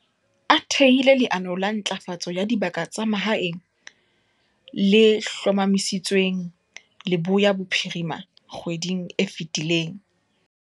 A thehile leano la Ntlafatso ya Dibaka tsa Mahaeng, le hlomamisitsweng Leboya Bophirima kgweding e fetileng.